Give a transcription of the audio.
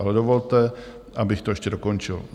Ale dovolte, abych to ještě dokončil.